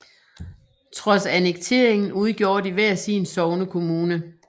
Trods annekteringen udgjorde de hver sin sognekommune